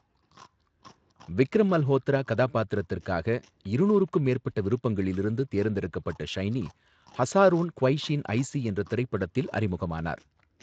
விக்ரம் மல்ஹோத்ரா கதாபாத்திரத்திற்காக இருநூறுக்கும் மேற்பட்ட விருப்பங்களில் இருந்து தேர்ந்தெடுக்கப்பட்ட ஷைனி, ஹஸாரோன் க்வைஷீன் ஐசி என்ற திரைப்படத்தில் அறிமுகமானார்.